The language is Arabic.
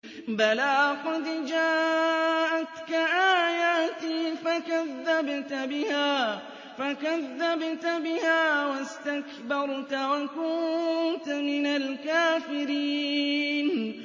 بَلَىٰ قَدْ جَاءَتْكَ آيَاتِي فَكَذَّبْتَ بِهَا وَاسْتَكْبَرْتَ وَكُنتَ مِنَ الْكَافِرِينَ